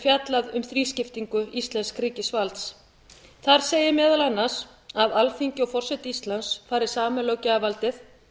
fjallað um þrískiptingu íslensks ríkisvalds þar segir meðal annars að alþingi og forseti íslands fari saman með löggjafarvaldið